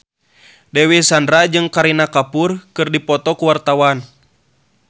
Dewi Sandra jeung Kareena Kapoor keur dipoto ku wartawan